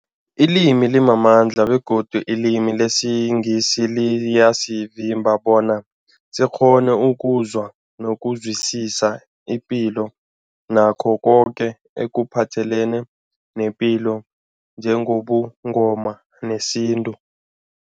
Ilimi limamandla begodu ilimi lesiNgisi liyasivimba bona sikghone ukuzwa nokuzwisisa ipilo nakho koke ekuphathelene nepilo njengobuNgoma nesintu.